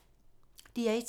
DR1